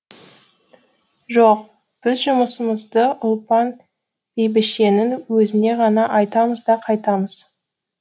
жоқ біз жұмысымызды ұлпан бәйбішенің өзіне ғана айтамыз да қайтамыз